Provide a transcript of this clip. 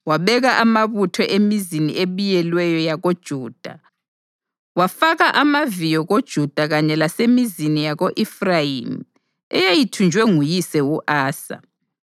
Wabeka amabutho emizini ebiyelweyo yakoJuda wafaka amaviyo koJuda kanye lasemizini yako-Efrayimi eyayithunjwe nguyise u-Asa.